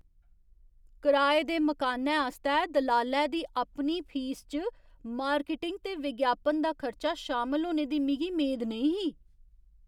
कराए दे मकानै आस्तै दलालै दी अपनी फीस इच्च मार्किटिंग ते विज्ञापन दा खर्चा शामल होने दी मिगी मेद नेईं ही ।